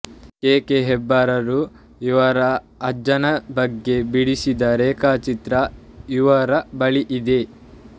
K K ಹೆಬ್ಬಾರರು ಇವರ ಅಜ್ಜನ ಬಗ್ಗೆ ಬಿಡಿಸಿದ ರೇಖಾಚಿತ್ರ ಇವರ ಬಳಿ ಇದೆ